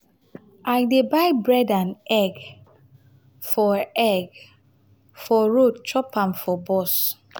i dey buy bread and egg for egg for road chop am for bus.